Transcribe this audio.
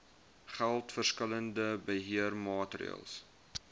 geld verskillende beheermaatreëls